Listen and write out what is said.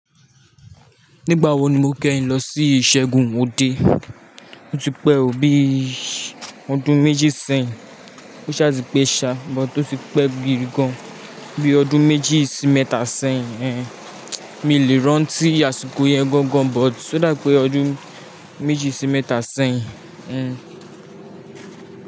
Nígbà wo ni mo kẹ́yin lọ sí Ìṣẹ́gun Odé? Ó ti pẹ́ ò bí ọdún méjì sẹ́yìn. Ó ṣe àti pé ṣá, but oti pẹ́ gidigan bí ọdún méjì sí mẹ́ta sẹ́yìn. Mí lè rán tí àsìkò yẹn gangan, but ó dà pé ọdún méjì sí mẹ́ta sẹ́yìn.